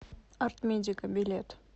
арт медика билет